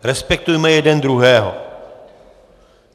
Respektujme jeden druhého.